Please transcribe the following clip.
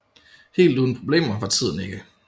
Helt uden problemer var tiden ikke